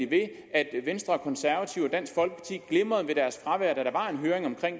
ved at venstre og konservative og dansk folkeparti glimrede ved deres fravær da der var en høring om